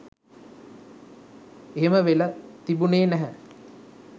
එහෙම වෙල තිබුණේ නැහැ.